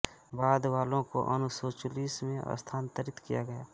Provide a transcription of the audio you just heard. बाद वाले को अनिसोचिलुस में स्थानांतरित किया गया